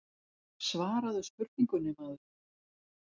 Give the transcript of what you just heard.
Svaraðu spurningunni maður.